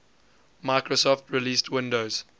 microsoft released windows